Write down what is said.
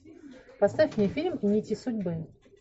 поставь мне фильм нити судьбы